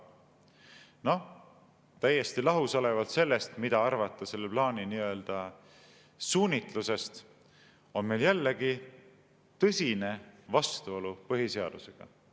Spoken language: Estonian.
Noh, täiesti lahus olevalt sellest, mida arvata selle plaani suunitlusest, on meil jällegi tõsine vastuolu põhiseadusega.